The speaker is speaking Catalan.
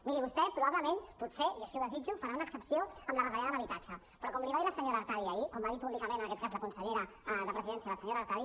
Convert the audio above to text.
miri vostè probablement potser i així ho desitjo farà una excepció en la retallada en habitatge però com li va dir la senyora artadi ahir quan va dir públicament en aquest cas la consellera de presidència la senyora artadi